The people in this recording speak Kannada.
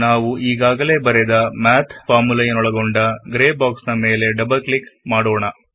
ನಾವು ಈಗಾಗಲೆ ಬರೆದ ಮ್ಯಾಥ್ ಫಾರ್ಮುಲೆಯನ್ನೊಳಗೊಂಡ ಗ್ರೇ ಬಾಕ್ಸ್ ನ ಮೇಲೆ ಡಬಲ್ ಕ್ಲಿಕ್ ಮಾಡಿರಿ